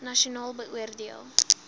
nasionaal beoor deel